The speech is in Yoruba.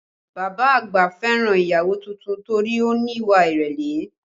Bàbá àgbà fẹ́ràn ìyàwó tuntun torí ó ní ìwà ìrẹ̀lẹ̀